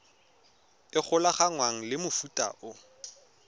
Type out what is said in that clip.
e golaganngwang le mofuta o